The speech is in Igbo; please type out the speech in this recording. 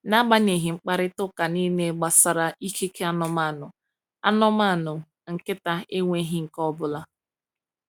N’agbanyeghị mkparịta ụka niile gbasara ikike anụmanụ, anụmanụ, nkịta enweghị nke ọ bụla.